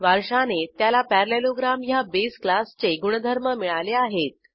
वारशाने त्याला पॅरालेलोग्राम ह्या बेस क्लासचे गुणधर्म मिळाले आहेत